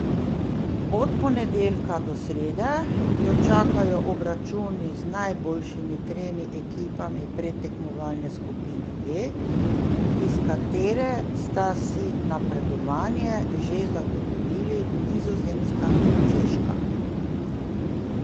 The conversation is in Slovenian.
Od ponedeljka do srede jo čakajo obračuni z najboljšimi tremi ekipami predtekmovalne skupine D, iz katere sta si napredovanje že zagotovili Nizozemska in Češka.